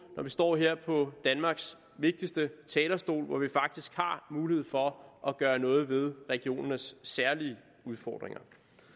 når vi står her på danmarks vigtigste talerstol hvor vi faktisk har mulighed for at gøre noget ved regionernes særlige udfordringer